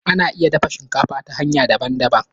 Ana iya dafa shinkafa ta hanya daban daban